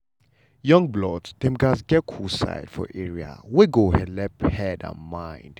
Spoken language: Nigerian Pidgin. young blood dem gatz get cool side for area wey go helep head and mind.